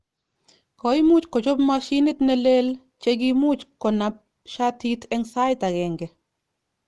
Koimuch kochop moshinit neleel chekimuch konab shatit eng sait agenge.